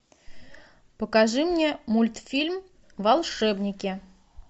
покажи мне мультфильм волшебники